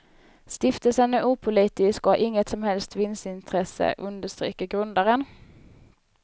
Stiftelsen är opolitisk och har inget som helst vinstintresse, understryker grundaren.